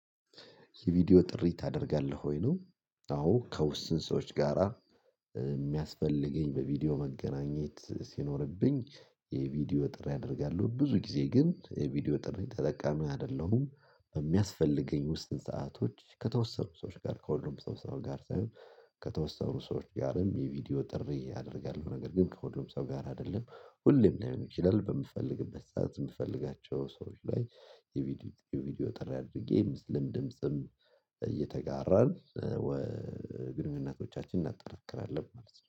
የቪዲዮ ጥሪ ታደርጋለህ ወይ ነው? አዎ ከውስን ሰዎች ጋራ የሚያስፈልገኝ በቪዲዮ መገናኘት ሲኖርብኝ። የቪዲዮ ጥሪ አደርጋለሁ ብዙ ጊዜ ግን የቪዲዮ ጥሪ ተጠቃሚ አይደለሁም። በሚያስፈልገኝ ውስን ሰአቶች ከተወሰኑ ሰዎች ጋር ከሁሉም ሰው ሰው ጋር ሳይሆን ከተወሰኑ ሰዎች ጋርም የቪዲዮ ጥሪ አደርጋለሁ ነገር ግን ከሁሉም ሰው ጋር አይደለም። ሁሌም ላይሆን ይችላል በምፈልግበት ሰዓት የምፈልጋቸው ሰዎች ላይ። የቪዲዮ ጥሪ አድርጌ የምስልም ድምጽም እየተጋራን። ግንኙነቶቻችን እናጠራክራለን ማለት ነው